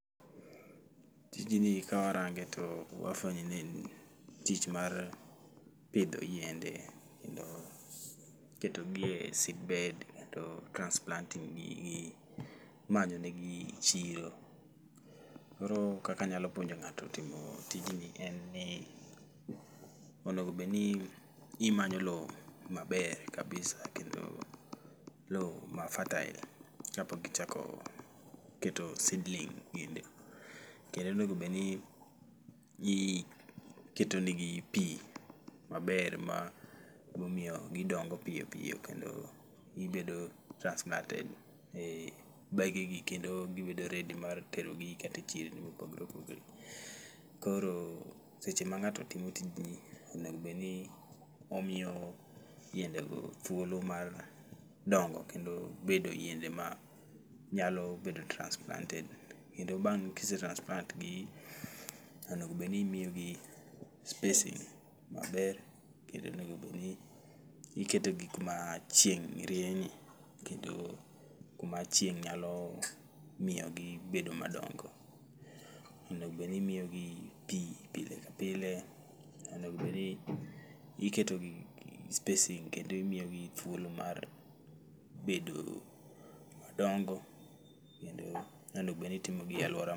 Tijni ka warange to wafwenyo ni en tich mar pidho yiende, kendo ketogi e seedbed kendo transplanting gigi imanyo ne gi chiro. Koro kakanyalo puonjo ng'ato timo tijni en ni onegobedni imanyo lo maber kabisa kendo lo ma fertile kapok ichako keto seedling ginde. Kendo onegobedni ji ketonegi pi maber ma bomiyo gidongo piyo piyo kendo gibedo transplanted e bege gi kendo gibedo redi mar terogi kate chirni mopogore opogore. Koro seche ma ng'ato timo tijni onegobedni omiyo yiende go thuolo mar dongo kendo bedo yiende ma nyalo bedo transplanted. Kendo bang' kise transplant gi, onegobedni imiyogi spacing maber. Kendo onegobedni iketo gi kuma chieng' rienye, kendo kuma chieng' nyalo miyogi gi bedo madongo. Onegobedni imiyogi pi pile ka pile, onegobedni iketogi gi spacing kendo imiyogi thuolo mar bedo madongo. Kendo onego bedni itimo gi alwora.